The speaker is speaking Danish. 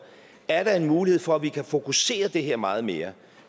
at om der er en mulighed for at vi kan fokusere det her meget mere